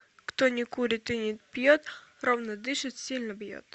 кто не курит и не пьет ровно дышит сильно бьет